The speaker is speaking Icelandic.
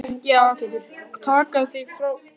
Ætlarðu að taka þig frá mér?